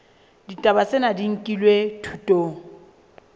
ditaba tsena di nkilwe thutong